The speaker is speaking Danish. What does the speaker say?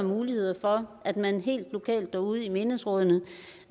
mulighed for at man helt lokalt derude i menighedsrådene